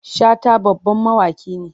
Shata babban mawaki ne.